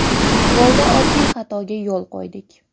Golda oddiy xatoga yo‘l qo‘ydik.